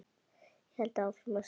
Ég held áfram að stara.